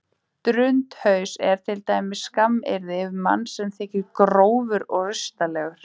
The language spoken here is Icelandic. Drundhaus er til dæmis skammaryrði um mann sem þykir grófur og rustalegur.